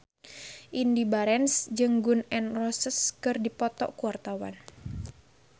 Indy Barens jeung Gun N Roses keur dipoto ku wartawan